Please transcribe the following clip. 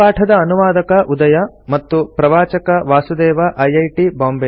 ಈ ಪಾಠದ ಅನುವಾದಕ ಉದಯ ಮತ್ತು ಪ್ರವಾಚಕ ವಾಸುದೇವ ಐಐಟಿ